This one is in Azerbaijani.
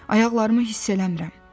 Ayaqlarımı hiss eləmirəm.